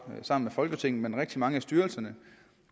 sammen med folketinget men rigtig mange af styrelserne